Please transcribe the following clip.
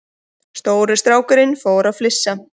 Stóri strákurinn fór að flissa.